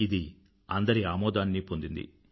ఇది అందరి ఆమోదాన్నీ పొందింది